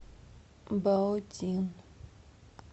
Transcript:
баодин